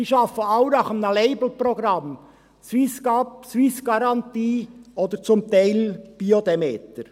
Sie arbeiten alle nach einem Labelprogramm, «Swiss Garantie» oder zum Teil «Bio Demeter».